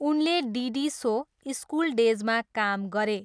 उनले डिडी सो स्कुल डेजमा काम गरे।